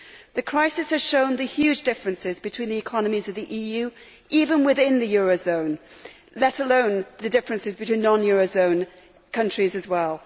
The crisis has shown the huge differences between the economies of the EU even within the eurozone, let alone the differences between non eurozone countries as well.